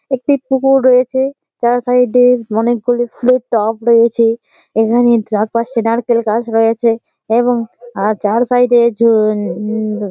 একটি পুকুর রয়েছে চার সাইড -এ অনেকগুলি ফুলের টব রয়েছে এখানে চারপাশটা নারকেল গাছ র‍য়েছে এবং আ চার সাইড -এ উ-উ ।